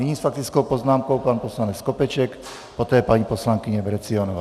Nyní s faktickou poznámkou pan poslanec Skopeček, poté paní poslankyně Vrecionová.